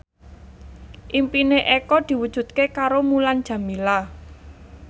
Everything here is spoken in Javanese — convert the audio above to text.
impine Eko diwujudke karo Mulan Jameela